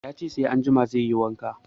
Ya ce sai anjima zai yi wanka